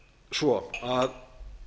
svo að